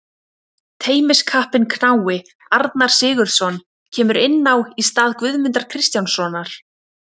Tenniskappinn knái Arnar Sigurðsson kemur inn á í stað Guðmundar Kristjánssonar.